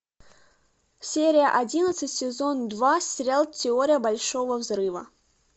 серия одиннадцать сезон два сериал теория большого взрыва